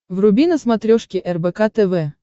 вруби на смотрешке рбк тв